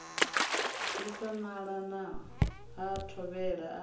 disa nala ha thovhele a